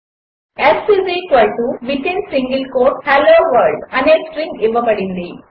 s hello world అనే string ఇవ్వబడింది